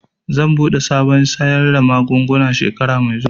Zan buɗe shagon sayar da magunguna shekara mai zuwa